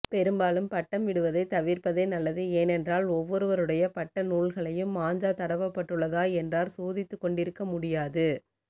பெரும்பாலும் பட்டம்விடுவதை தவிர்ப்பதே நல்லது ஏனென்றால் ஒவ்வொருடைய பட்ட நூல்களையும் மாஞ்சா தடவப்பட்டுள்ளதா என்றார் சோதித்துக்கொண்டிருக்கமுடியாது